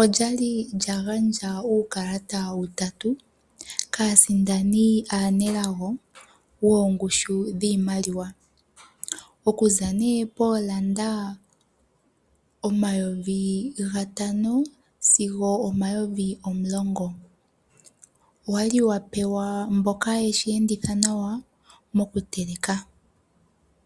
olyali lyagandja uukalata utatu kaasindani aanelago wongushu yiimaliwa okuza nee poolanda omayovi gatano sizo omayivi omulongo owali wagandjwa kwaamboka yeshi enditha nawa mokuteka